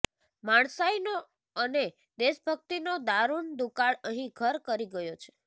માણસાઈનો અને દેશભકિતનો દારૂણ દુકાળ અહી ઘર કરી ગયો છે